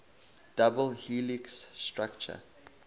double helix structure